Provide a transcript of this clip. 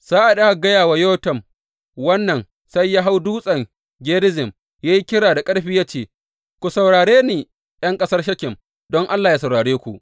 Sa’ad da aka gaya wa Yotam wannan, sai ya hau Dutsen Gerizim ya yi kira da ƙarfi ya ce, Ku saurare ni, ’yan ƙasar Shekem, don Allah yă saurare ku.